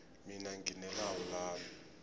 mina ngine lawu lami